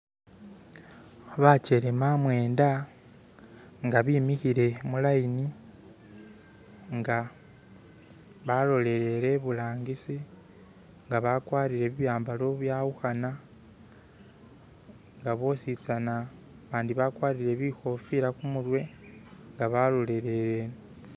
Bakyelema mwenda nga bimihile mulayini nga balololeye iburangisi nga bakwarire bi'byambalo bibyawukhana nga bositsana bandi bakwalire bikofila khumurwe nga balololere ino.